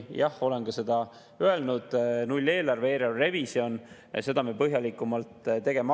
Jah, olen ka seda öelnud, et nulleelarvet ja eelarverevisjoni hakkame me põhjalikumalt tegema.